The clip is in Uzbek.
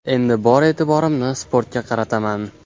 Endi bor e’tiborimni sportga qarataman !